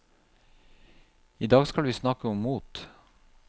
Idag skal vi snakke om mot.